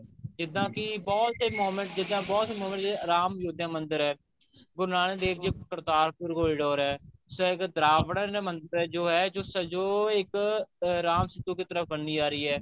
ਜਿੱਦਾਂ ਕਿ ਬਹੁਤ ਸੇ moment ਜਿੱਦਾਂ ਬਹੁਤ ਸੇ moment ਜਿੱਦਾਂ ਅਰਾਮ ਯੋਧਿਆ ਮੰਦਿਰ ਹੈ ਗੁਰੂ ਨਾਨਕ ਦੇਵ ਜੀ ਕਰਤਾਰਪੁਰ corridor ਐ ਮੰਦਿਰ ਜੋ ਐ ਜੋ ਇੱਕ ਰਾਮ ਸੀਤੁ ਦੀ ਤਰ੍ਹਾਂ ਬਣਦੀ ਜਾ ਰਹੀ ਹੈ